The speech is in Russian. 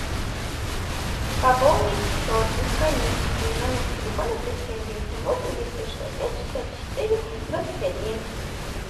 пополнить счет без комиссии номер телефона плюс семь девять семь восемь двести шестьдесят пять шестьдесят четыре двадцать один